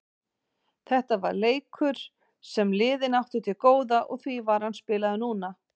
Þetta var leikur sem liðin áttu til góða og því var hann spilaður núna.